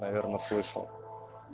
наверное слышал